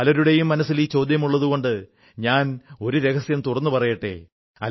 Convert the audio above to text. പലരുടെയും മനസ്സിൽ ഈ ചോദ്യമുള്ളതുകൊണ്ട് ഞാൻ രഹസ്യം തുറന്നു പറയട്ടെ